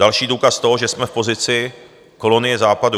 Další důkaz toho, že jsme v pozici kolonie Západu.